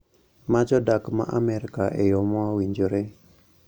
Ma jodak ma Amerka e yo mowinjore